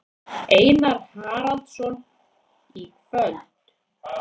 Einar Haraldsson: Í kvöld?